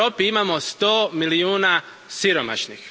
U Europi imamo sto milijuna siromašnih.